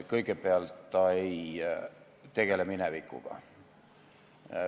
Kõigepealt, see ei tegele minevikuga.